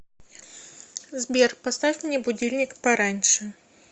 сбер поставь мне будильник пораньше